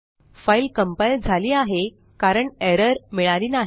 file compile झाली आहे कारण एरर मिळाली नाही